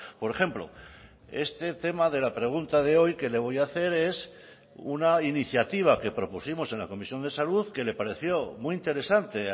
por ejemplo este tema de la pregunta de hoy que le voy a hacer es una iniciativa que propusimos en la comisión de salud que le pareció muy interesante